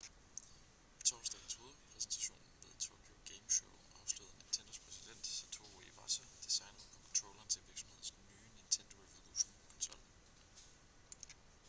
på torsdagens hovedpræsentation ved tokyo game show afslørede nintendos præsident satoru iwata designet på controlleren til virksomhedens nye nintendo revolution-konsol